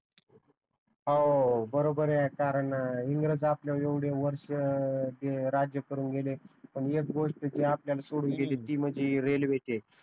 हो बरोबर आहे कारण इंग्रज आपल्यावर एवढे वर्ष राज्य करून गेले पण एक गोष्ट ते आपल्याला सोडून गेले ती म्हणजे रेलवे च आहे